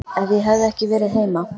Ef ég hefði ekki verið heima.